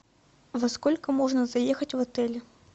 во сколько можно заехать в отель